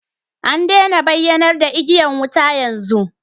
An daina bayyanar da igiyar wuta yanzu